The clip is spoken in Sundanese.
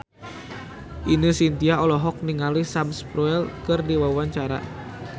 Ine Shintya olohok ningali Sam Spruell keur diwawancara